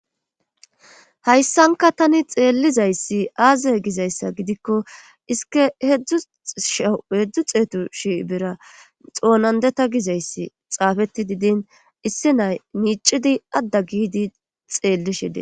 hayssanka tani xeellizayssi aazye gizayssa gidikko isike hedzdzu sha hedzdzu xeetu shi bera xoonandeta gizayssi xaafetti didin issi nay miicidi adda giidi xeelli shide.